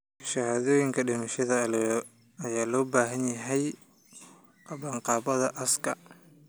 Shahaadooyinka dhimashada ayaa loo baahan yahay qabanqaabada aaska.